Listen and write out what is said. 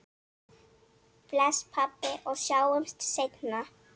Bless, pabbi, og sjáumst seinna.